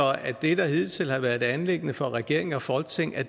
det der hidtil har været et anliggende for regeringen og folketinget